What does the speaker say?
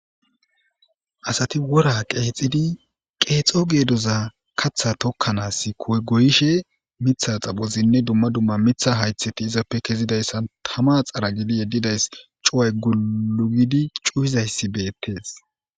Asati wora qeexidi qeexo geedoza katha tokkanaass koy goyishe mitha xaphozinne dumma dumma mitha haytheti izappe kezidayssan tama xara gidi yeddidays cuay gulugidi cuhizayssi beettees.